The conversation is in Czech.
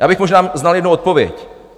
Já bych možná znal jednu odpověď.